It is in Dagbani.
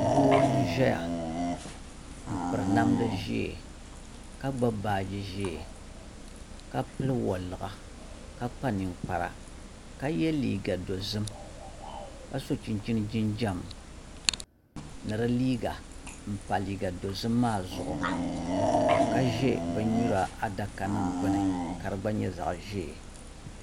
Doo n ʒɛya n piri namdi ʒiɛ ka gbubi baaji ʒiɛ ka pili woliɣa ka kpa ninkpara ka yɛ liiga dozim ka so chinchin jinjɛm ni di liiga n pa liiga dozim maa zuɣu ka ʒɛ bin nyura adaka gbuni ka di gba nyɛ zaɣ ʒiɛ